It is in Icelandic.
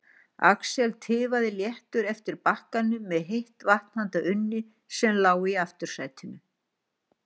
Axel tifaði léttur eftir bakkanum með heitt vatn handa Unni sem lá í aftursætinu.